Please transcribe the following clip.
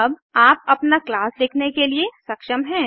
अब आप अपना क्लास लिखने के लिए सक्षम हैं